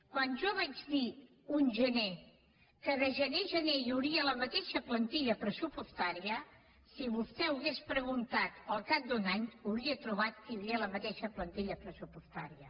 quan jo vaig dir un gener que de gener a gener hi hauria la mateixa plantilla pressupostària si vostè ho hagués preguntat al cap d’un any hauria trobat que hi havia la mateixa plantilla pressupostària